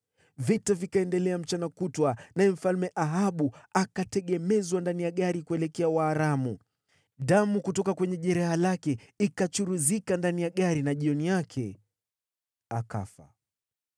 Vita vikaendelea mchana kutwa, naye Mfalme Ahabu akategemezwa ndani ya gari kuelekea Waaramu. Damu kutoka kwenye jeraha lake ikachuruzika ndani ya gari na jioni yake akafa.